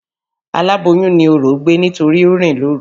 Alàboyùn ni orò gbé nítorí o rìn lóru.